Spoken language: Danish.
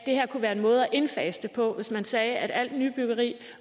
kunne være en måde at indfase det på hvis man sagde at alt nybyggeri